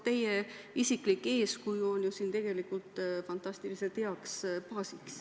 Teie isiklik eeskuju on ju fantastiliselt hea baas.